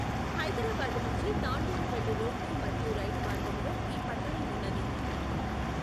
హైదరాబాదు నుంచి తాండూర్ వెళ్ళు రోడ్డు మరియు రైలు మార్గములో ఈ పట్టణం ఉన్నది.